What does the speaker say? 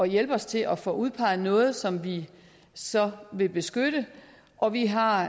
hjælpe os til at få udpeget noget som vi så vil beskytte og vi har